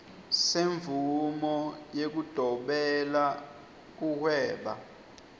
semvumo yekudobela kuhweba